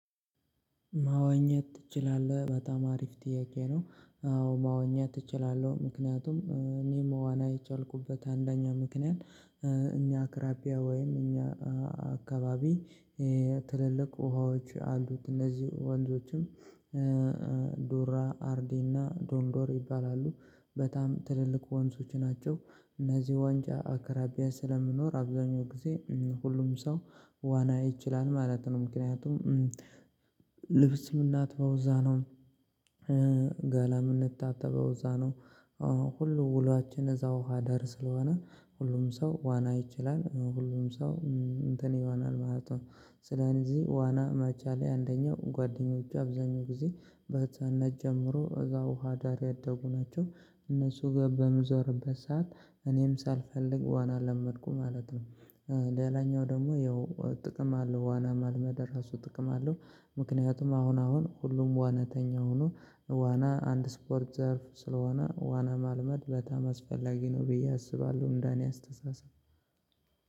ማወኘት ትችላለህ በጣም አሪፍ ጥያቄ ነው? አዎ ማወኘት እችላለሁ ምክንያቱም እኔ መዋና የቻልኩበት አንደኛ ምክንያት። እኛ አቅራቢያ ወይም እኛ አካባቢ ትልልቅ ውሃዎች አሉት እነዚህ ወንዞችም። ዶራ አርዲ እና ዶንዶር ይባላሉ። በጣም ትልልቅ ወንዞች ናቸው። እነዚህ ዋንጫ አቀራቢያ ስለምኖር አብዛኛው ግዜ ሁሉም ሰው ዋና ይችላል ማለት ነው። ምክንያቱም ልብስ ምንናትበው እዛ ነው። ገላም ምንታጠበው እዛ ነው። ሁሉ ውሏችን እዛ ውሃ ዳር ስለሆነ ሁሉም ሰው ዋና ይችላል ሁሉም ሰው እንትን ይዋናል ማለት ነው። ስለዚህ ዋና መቻሌ አንደኛው ጓደኞቹ አብዛኛው ግዜ በህጻነት ጀምሮ እዛው ውሃ ዳር ያደጉ ናቸው። እነሱ ጋ በምዞርበት ሰዓት እኔም ሳልፈልግ ዋና ለመድኩ ማለት ነው። ሌላኛው ደግሞ የው ጥቅም አለው ዋና መልመደ እራሱ ጥቅም አለው። ምክንያቱም አሁን አሁን ሁሉም ዋናተኛ ሁኖ ዋና አንድ ስፖርት ዘርፍ ስለሆነ ዋና ማልመድ በጣም አስፈላጊ ነው ብዬ አስባለሁ። እንደኔ አስተሳሰብ